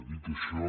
dit això